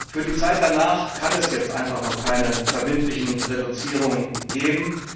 Für die Zeit danach kann es jetzt einfach noch keine verbindlichen Reduzierungen geben.